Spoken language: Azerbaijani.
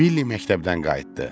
Billi məktəbdən qayıtdı.